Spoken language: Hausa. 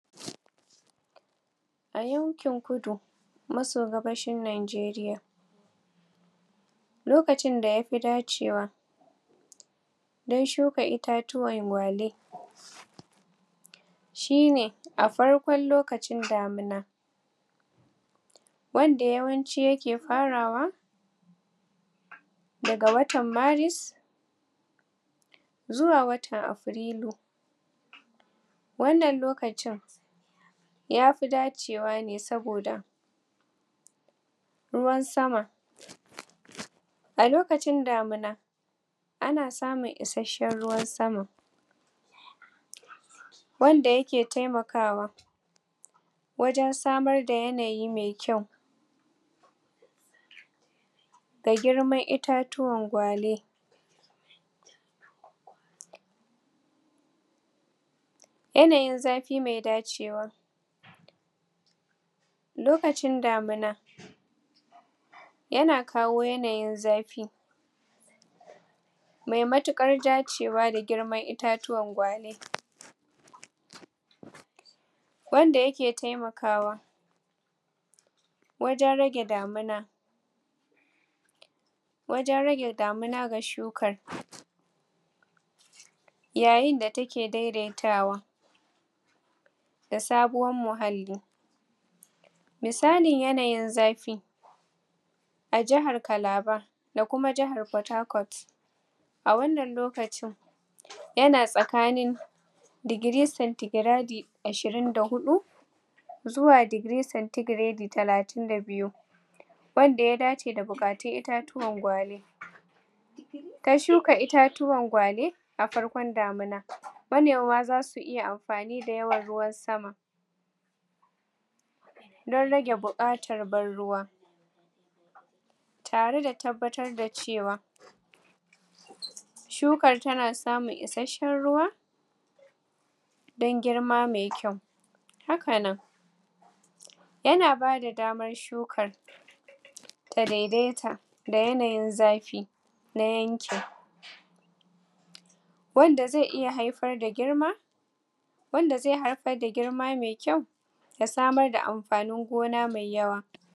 a yankin kudu masogaban shi Nigeria lokacin da ya fi dacewa dan shuka itatuwan? shi ne a farkon lokacin damina wan da yawanci ya ke farawa da ga watan maris zuwa watan Aprilu wannanlokacin ya fi dcewa ne soboda ruwan sama a lokacin damina ana samun isashan ruwan sama wanda yake taimakawa wajan samar da yanayi maikyau da girman itatuwan gwale yanayn zafi mai dacewa lokacin damuna yana kawo yanayin zafi mai matukar dacewa da girman itatuwan gwale wanda yake taimakawa wajan rage damuna wajen rage damuna ga shukar yayin da ta ke daidaitawa da sabuwan muhalli misali yanayin zafi a jihar Calabar da kumajihar Port Harcourt a wannan lokacin ya na tsakanin degree centigradi 24 zuwa degree centigradi 32 wanda ya dace da itatuwan gwale ka suka itatuwan gwale a farkon damina manoma zasu iya amfani da yawan ruwan sama dan rage bukatar ban ruwa tare da tabattar da cewa shukan ta na samunisashen ruwa dan girma mai kyau haka nan ya na ba da damar shukar ta daidaita da yanayin zafi nayanci wanda zai iya haifar da girma wanda zai haifar da girma mai kyau ya samar da amfanin gona mai yawa